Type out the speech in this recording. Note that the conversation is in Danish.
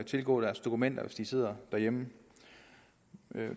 tilgå deres dokumenter hvis de sidder derhjemme